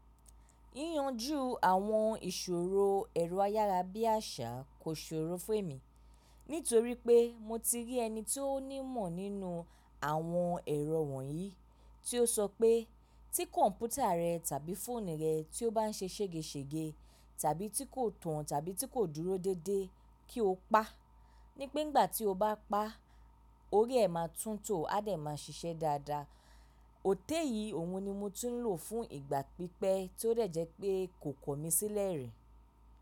Yíyanjú àwọn ìṣòro ẹ̀rọ ayárabíàṣá kò ṣòro fún èmi nítorí pé mo ti rí ẹni tí ó nímọ̀ nínú àwọn ẹ̀rọ wọ̀nyí tí ó sọ pé tí kọ̀mpútà rẹ tàbí fóònù rẹ tí ó bá ń ṣe ṣègeṣège tàbí tí kò tàn tàbí tí kò dúró déédéé kí o pa, ní pé ìgbà tí o bá pa, óri ẹ̀ máa tún tò ó á dẹ̀ máa ṣiṣẹ́ dáadáa. Òtẹ̀ yìí òun ni mo ti ń lò fún ìgbà pípẹ́ tí ó rẹ̀ jẹ́ pé kò kọ mí sílẹ̀ rí.